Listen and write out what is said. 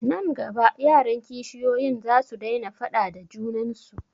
Nan gaba yaran kishiyoyin zasu daina faaɗa da junan su